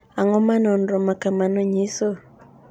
Ang’o ma nonro ma kamano nyiso?